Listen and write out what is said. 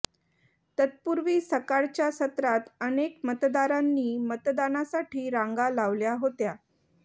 तत्पूर्वी सकाळच्या सत्रात अनेक मतदारांनी मतदानासाठी रांगा लावल्या होत्या